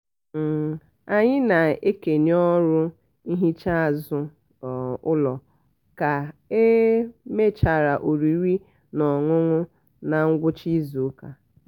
um anyị na-ekenye ọrụ ihicha azụ um ụlọ ka e um mechara oriri na ọṅụṅụ na ngwụcha izuụka.